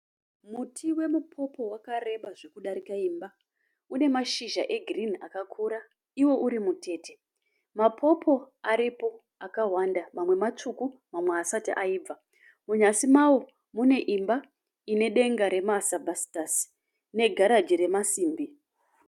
Muti wemupopo wakareba zvokudarika imba. Une mashizha egirinhi akakura iwo uri mutete. Mapopo aripo akawanda. Mamwe matsvuku mamwe haasati aibva. Munyasi mawo mune imba ine denga resitabhasitasi negaraji remasimbi.